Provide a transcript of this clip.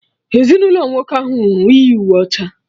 Ezinụlọ nwoke ahụ nwụrụ yi uwe ọcha